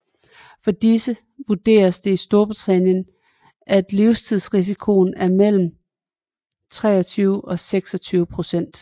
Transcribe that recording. For disse vurderes det i Storbritannien at livstidsrisikoen er mellem 23 og 26 procent